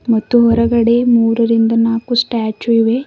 ಮತ್ತೆ ಹೊರಗಡೆ ಮೂರರಿಂದ ನಾಕು ಸ್ಟ್ಯಾಚು ಇವೆ.